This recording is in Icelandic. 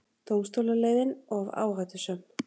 Dómstólaleiðin of áhættusöm